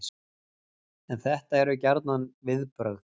En þetta eru gjarnan viðbrögð